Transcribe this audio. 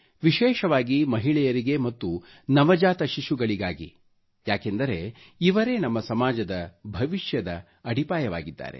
ವಿಶೇಷವಾಗಿ ಮಹಿಳೆಯರಿಗೆ ಮತ್ತು ನವಜಾತ ಶಿಶುಗಳಿಗಾಗಿ ಯಾಕೆಂದರೆ ಇವರೆ ನಮ್ಮ ಸಮಾಜದ ಭವಿಷ್ಯದ ಅಡಿಪಾಯವಾಗಿದ್ದಾರೆ